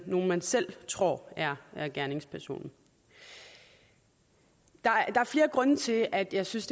nogen man selv tror er er gerningspersonen der er flere grunde til at jeg synes